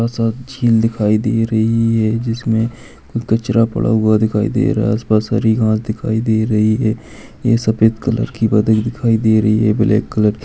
सा झील दिखाई दे रही है जिसमे कचरा पड़ा हुआ दिखाई दे रहा है आस-पास हरी घास दिखाई दे रही है ये सफ़ेद कलर की बादल दिखाई दे रही है। ये ब्लैक कलर --